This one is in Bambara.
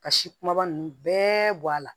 Ka si kumaba ninnu bɛɛ bɔ a la